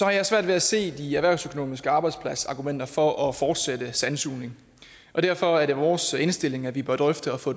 jeg svært ved at se de erhvervsøkonomiske arbejdspladsargumenter for at fortsætte med sandsugning og derfor er det vores indstilling at vi bør drøfte at få